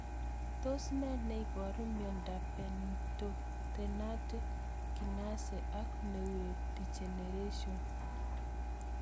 Tos nee neiparu miondop Pantothenate kinase ak neurodegeneration?